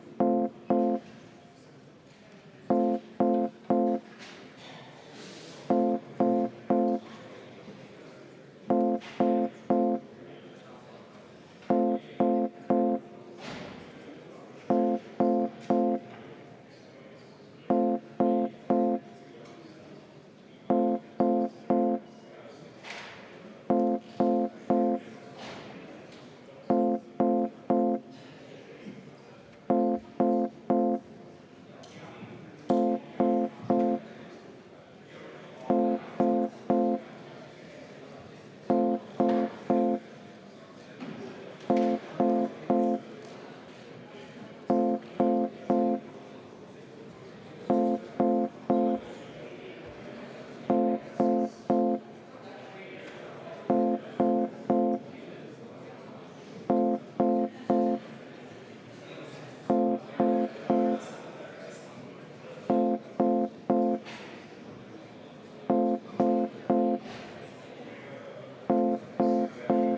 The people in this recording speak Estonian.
Kõigepealt paluks kohaloleku kontrolli ja teiseks paluksin üheksa minutit vaheaega, et koalitsioon ja saadikud saaks veel korra järele mõelda, kas nende südametunnistusega on ikkagi sellise eelnõu vastuvõtmine kooskõlas.